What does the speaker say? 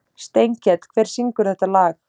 Steinkell, hver syngur þetta lag?